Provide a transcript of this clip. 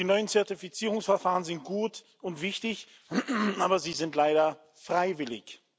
Die neuen Zertifizierungsverfahren sind gut und wichtig, aber sie sind leider freiwillig.